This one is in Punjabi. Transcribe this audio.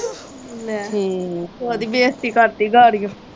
ਲੇ ਤੂੰ ਉਹ ਦੀ ਬੇਜਤੀ ਕਰਤੀ ਗਾਰੀਓ।